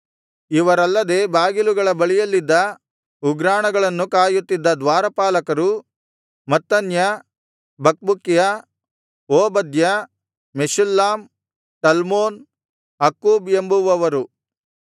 ಇವರಲ್ಲದೆ ಬಾಗಿಲುಗಳ ಬಳಿಯಲ್ಲಿದ್ದ ಉಗ್ರಾಣಗಳನ್ನು ಕಾಯತ್ತಿದ್ದ ದ್ವಾರಪಾಲಕರು Mattaniah Bakbukiah Obadiah Meshullam Talmon Akkub ಎಂಬುವವರು